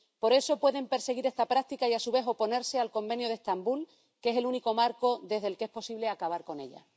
Por eso pueden perseguir esta práctica y a su vez oponerse al Convenio de Estambul, que es el único marco desde el que es posible acabar con ella.